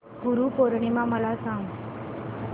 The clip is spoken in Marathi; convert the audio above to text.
गुरु पौर्णिमा मला सांग